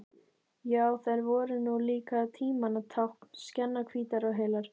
Já, þær voru nú líka tímanna tákn, skjannahvítar og heilar.